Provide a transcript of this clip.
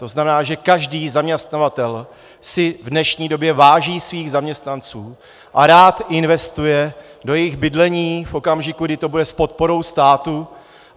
To znamená, že každý zaměstnavatel si v dnešní době váží svých zaměstnanců a rád investuje do jejich bydlení v okamžiku, kdy to bude s podporou státu.